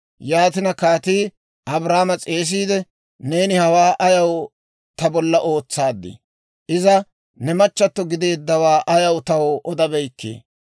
Yaatina kaatii Abraama s'eesiide, «Neeni hawaa ayaw ta bolla ootsaad? iza ne machchatto gideeddawaa ayaw taw odabeykkii?